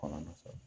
Kɔnɔ nɔfɛ